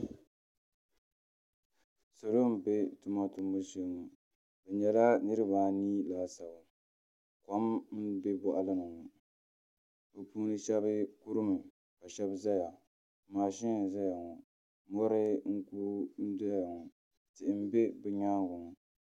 Salo n bɛ tuma tumbu shee bi nyɛla niraba anii laasabu kom b bɛ boɣali ni ŋo bi puuni shab kurimi ka shab ʒɛya mashin n ʒɛya ŋo mori n ku doya ŋo tihi n bɛ bi nyaanga ŋo